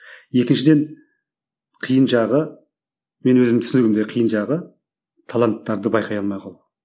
екіншіден қиын жағы мен өзім түсінігімде қиын жағы таланттарды байқай алмай қалу